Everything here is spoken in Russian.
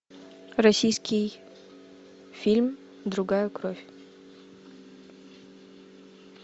российский фильм другая кровь